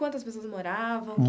Quantas pessoas moravam?